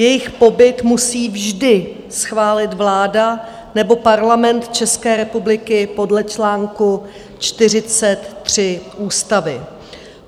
Jejich pobyt musí vždy schválit vláda nebo Parlament České republiky podle článku 43 ústavy.